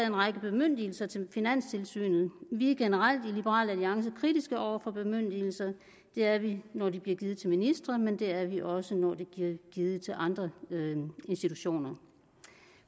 en række bemyndigelser til finanstilsynet vi er generelt i liberal alliance kritiske over for bemyndigelser det er vi ikke når de bliver givet til ministre men det er vi også når de bliver givet til andre institutioner